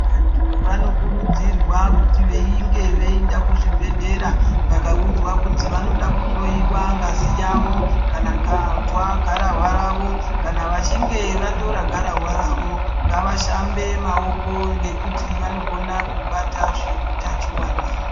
Vanthu vanokurudzirwa kuti veinge veienda kuzvibhedhlera vakaudzwa kunzi vanoda kuhloyiwa ngazi yavo kana kuzi gararwa ravo kana vechinge vatora gararwa ravo ngavashambe maoko ngekuti vanogone kubata zve utachiona.